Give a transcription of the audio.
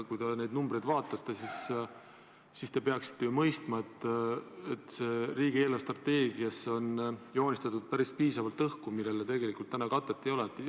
Kui te neid numbreid vaatate, siis peaksite ju mõistma, et riigi eelarvestrateegiasse on joonistatud päris piisavalt õhku, millele täna tegelikult katet ei ole.